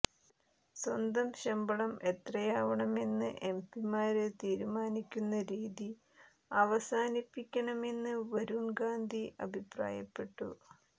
സ്വന്തം ശമ്പളം എത്രയാവണമെന്ന് എംപിമാര് തീരുമാനിക്കുന്ന രീതി അവസാനിപ്പിക്കണമെന്ന് വരുണ് ഗാന്ധി അഭിപ്രായപ്പെട്ടു